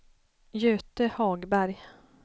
Göte Hagberg